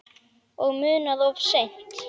Og munað of seint.